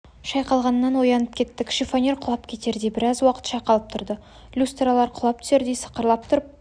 шайқалғаннан оянып кеттік шифонер құлап кетердей біраз уақыт шайқалып тұрды люстралар құлап түсердей сықырлап тұрып